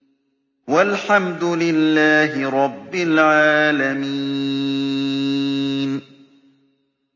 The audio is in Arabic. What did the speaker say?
وَالْحَمْدُ لِلَّهِ رَبِّ الْعَالَمِينَ